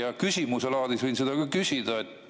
Ja küsimuse laadis võin seda ka küsida.